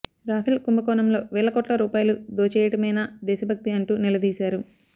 Rafale కుంభకోణంలో వేల కోట్ల రూపాయలు దోచెయ్యడమేనా దేశభక్తి అంటూ నిలదీశారు